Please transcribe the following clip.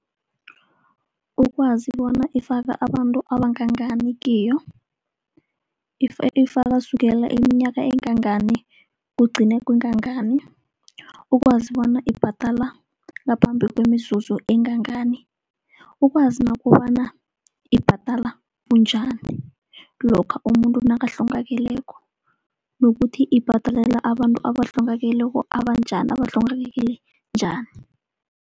Ukwazi bona ifaka abantu abangangani kiyo, ifaka sukela iminyaka engangani, kugcine kwengangani. Ukwazi bona ibhadala ngaphambi kwemizuzu engangani, ukwazi nokobana ibhadala bunjani lokha umuntu nakahlongakaleko. Nokuthi ibhadalela abantu abahlongakeleko abanjani, abahlongakele njani.